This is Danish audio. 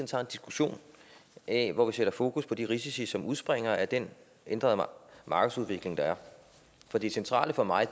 tager en diskussion af hvor vi sætter fokus på de risici som udspringer af den ændrede markedsudvikling der er for det centrale for mig